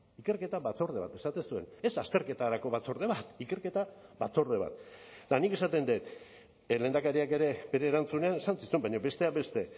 ikerketa batzorde bat esaten zuen ez azterketarako batzorde bat ikerketa batzorde bat eta nik esaten dut lehendakariak ere bere erantzunean esan zizun baina besteak beste